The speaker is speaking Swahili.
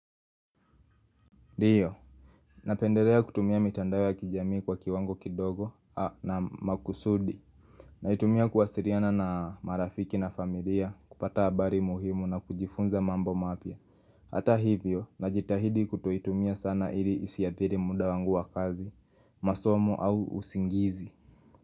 Ndio, napendelea kutumia mitandao ya kijamii kwa kiwango kidogo na makusudi Naitumia kuwasiliana na marafiki na familia kupata habari muhimu na kujifunza mambo mapya Hata hivyo, najitahidi kutoitumia sana ili isiathiri muda wangu wa kazi, masomo au usingizi.